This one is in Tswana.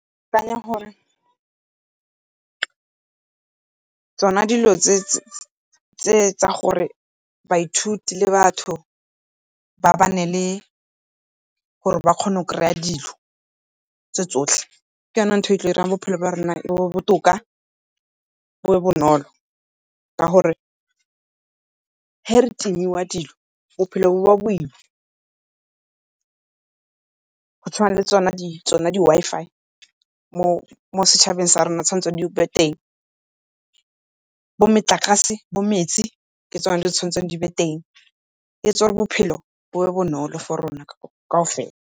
gore tsona dilo tse tsa gore baithuti le batho ba nne le, gore ba kgone go kry-a dilo tse tsotlhe, ke yone ntho e tla dirang bophelo ba rona bo nne botoka bo nne bonolo, ka gore ga re timiwa dilo bophelo bo nna boima. Go tshwana le tsone di-Wi-Fi mo setšhabeng sa rona tswanetse di nne teng, bo metlakase, bo metsi, ke tsone di tshwanetseng di nne teng, di etsa gore bophelo bo nne bonolo for rona kaofela.